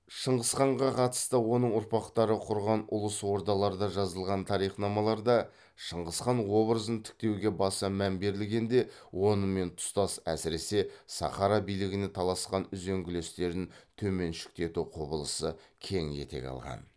шыңғысханға қатысты оның ұрпақтары құрған ұлыс ордаларда жазылған тарихнамаларда шыңғысхан обыразын тіктеуге баса мән берілгенде онымен тұстас әсіресе сахара билігіне таласқан үзеңгілестерін төменшіктету құбылысы кең етек алған